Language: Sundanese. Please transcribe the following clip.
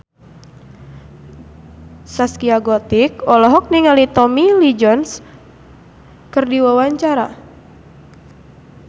Zaskia Gotik olohok ningali Tommy Lee Jones keur diwawancara